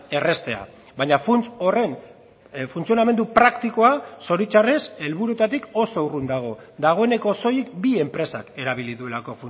erraztea baina funts horren funtzionamendu praktikoa zoritxarrez helburuetatik oso urrun dago dagoeneko soilik bi enpresak erabili duelako